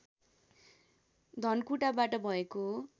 धनकुटाबाट भएको हो